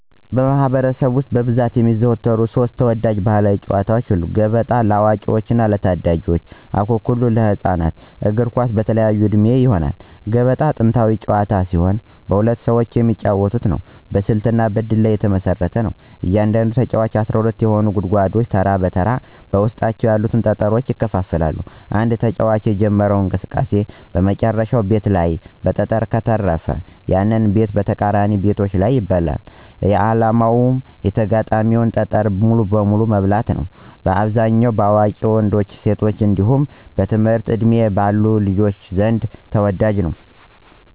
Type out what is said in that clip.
በማኅበረሰብ ውስጥ በብዛት የሚዘወተሩ ሦስት ተወዳጅ ባሕላዊ ጨዋታዎች፦ ገበጣ (ለአዋቂዎችና ለታዳጊዎች) ፣አኩኩሉ (ለህፃናት)፣ እግር ኳስ (በተለያየ ዕድሜ)። ገበጣ ጥንታዊ ጨዋታ ሲሆን በሁለት ሰዎች የሚጫወት ነው። በስልትና በእድል ላይ የተመሰረተ ነው። እያንዳንዱ ተጫዋች 12 የሆኑትን ጉድጓዶች ተራ በተራ በውስጣቸው ያሉትን ጠጠሮች ያከፋፍላል። አንድ ተጫዋች የጀመረው እንቅስቃሴ በመጨረሻው ቤት ላይ ጠጠር ከተረፈ፣ ያንን ቤትና ተቃራኒ ቤቶችን ይበላል። ዓላማው የተጋጣሚን ጠጠር በሙሉ መብላት ነው። በአብዛኛው በአዋቂ ወንዶችና ሴቶች እንዲሁም በትምህርት ዕድሜ ባሉ ልጆች ዘንድ ተወዳጅ ነው።